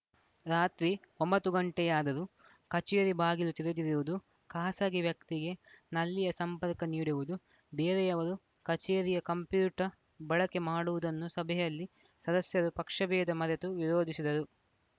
ರಾತ್ರಿ ಒಂಬತ್ತು ಗಂಟೆಯಾದರೂ ಕಚೇರಿ ಬಾಗಿಲು ತೆರೆದಿರುವುದು ಖಾಸಗಿ ವ್ಯಕ್ತಿಗೆ ನಲ್ಲಿಯ ಸಂಪರ್ಕ ನೀಡುವುದು ಬೇರೆಯವರು ಕಚೇರಿಯ ಕಂಪ್ಯೂಟರ್‌ ಬಳಕೆ ಮಾಡುವುದನ್ನು ಸಭೆಯಲ್ಲಿ ಸದಸ್ಯರು ಪಕ್ಷಭೇದ ಮರೆತು ವಿರೋಧಿಸಿದರು